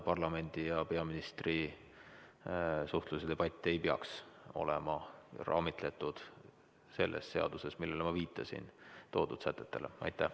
Parlamendi ja peaministri suhtlus ja debatt ei peaks olema raamitletud selles seaduses, millele ma viitasin, toodud sätetega.